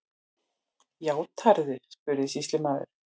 Játarðu, spurði sýslumaður.